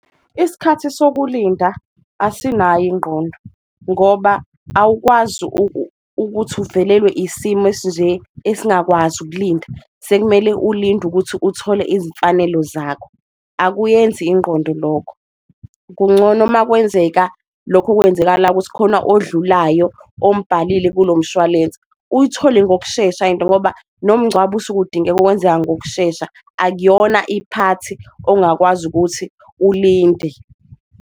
Isikhathi sokulinda asinayo ingqondo ngoba awukwazi ukuthi uvelelwe isimo esinje esingakwazi ukulinda, sekumele ulinde ukuthi uthole izimfanelo zakho, akuyenzi ingqondo lokho. Kungcono makwenzeka lokho okwenzakala ukuthi khona odlulayo omubhalile kulo mshwalense uyithole ngokushesha into, ngoba nomngcwabo osuke udingeka ukwenzeka ngokushesha. Akuyona iphathi ongakwazi ukuthi ulinde.